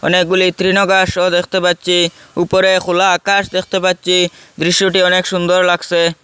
অনেকগুলি তৃণঘাসও দেখতে পাচ্ছি উপরে খোলা আকাশ দেখতে পাচ্ছি দৃশ্যটি অনেক সুন্দর লাগসে ।